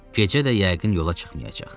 Gecə də yəqin yola çıxmayacaq.